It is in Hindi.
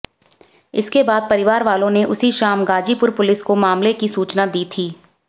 इसके बाद परिवार वालों ने उसी शाम गाजीपुर पुलिस को मामले की सूचना दी थी